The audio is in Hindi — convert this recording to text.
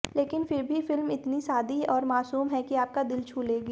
लेकिन फिर भी फिल्म इतनी सादी और मासूम है कि आपका दिल छू लेगी